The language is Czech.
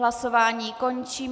Hlasování končím.